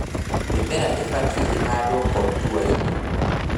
Mĩmera ibatie ĩhandwo kontuainĩ